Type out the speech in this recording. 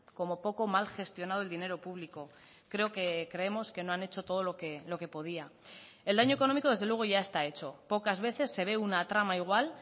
como poco mal gestionado el dinero público creo que creemos que no han hecho todo lo que podía el daño económico desde luego ya está hecho pocas veces se ve una trama igual